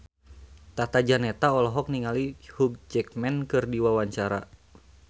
Tata Janeta olohok ningali Hugh Jackman keur diwawancara